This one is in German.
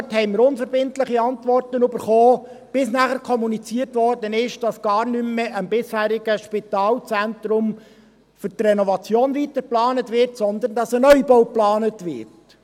Auch darauf erhielten wir unverbindliche Antworten, bis danach kommuniziert wurde, dass für die Renovation gar nicht mehr am bisherigen Spitalzentrum weitergeplant wird, sondern dass ein Neubau geplant wird.